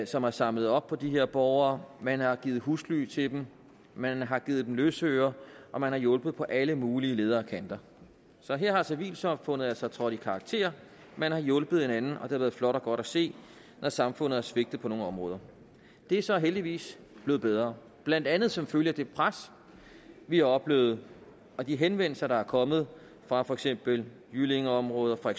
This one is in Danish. som har samlet op på de her borgere man har givet husly til dem man har givet dem løsøre og man har hjulpet på alle mulige leder og kanter så her er civilsamfundet altså trådt i karakter man har hjulpet hinanden og det har været flot og godt se når samfundet har svigtet på nogle områder det er så heldigvis blevet bedre blandt andet som følge af det pres vi har oplevet og de henvendelser der er kommet fra for eksempel jyllingeområdet og